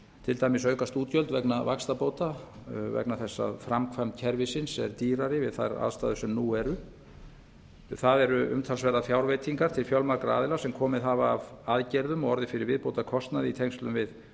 til dæmis aukast útgjöld vegna vaxtabóta vegna þess að framkvæmd kerfisins er dýrari við þær aðstæður sem nú eru það eru umtalsverðar fjárveitingar til fjölmargra aðila sem komið hafa að aðgerðum og orðið fyrir viðbótarkostnaði í tengslum við